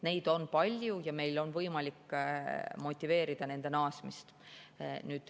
Neid on palju ja meil on võimalik motiveerida neid naasma.